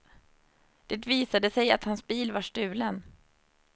Det visade sig att hans bil var stulen.